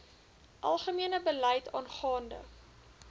algemene beleid aangaande